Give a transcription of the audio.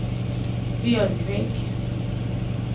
Björkvik